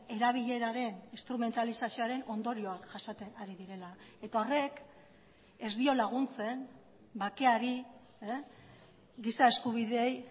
erabileraren instrumentalizazioaren ondorioak jasaten ari direla eta horrek ez dio laguntzen bakeari giza eskubideei